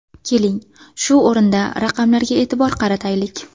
Keling, shu o‘rinda raqamlarga e’tibor qarataylik.